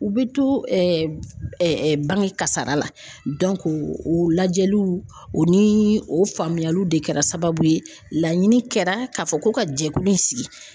U bɛ to bange kasara la o lajɛliw o ni o faamuyaliw de kɛra sababu ye laɲini kɛra ka fɔ ko ka jɛkulu in sigi.